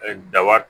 daba